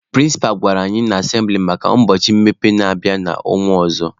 Prịnsịpa gwara anyị n'asembịli maka ụbọchị mmepe na-abịa n'ọnwa ọzọ.